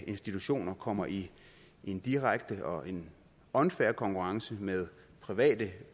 institutioner kommer i en direkte og en unfair konkurrence med private